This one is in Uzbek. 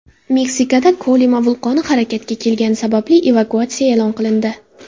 Meksikada Kolima vulqoni harakatga kelgani sababli evakuatsiya e’lon qilindi.